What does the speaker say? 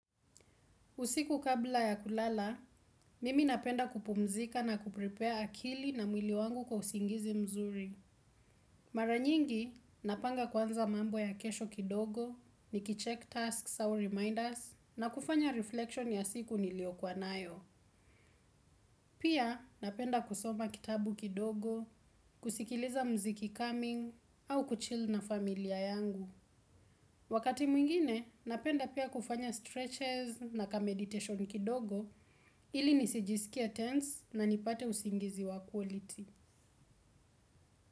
Usiku kabla ya kulala, mimi napenda kupumzika na kuprepare akili na mwili wangu kwa usingizi mzuri. Mara nyingi, napanga kwanza mambo ya kesho kidogo, nikichek tasks au reminders, na kufanya reflection ya siku niliyokuwa nayo. Pia, napenda kusoma kitabu kidogo, kusikiliza mziki coming, au kuchil na familia yangu. Wakati mwingine, napenda pia kufanya stretches na kameditation kidogo ilisijisikie tense na nipate usingizi wa quality.